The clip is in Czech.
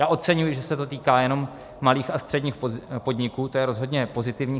Já oceňuji, že se to týká jenom malých a středních podniků, to je rozhodně pozitivní.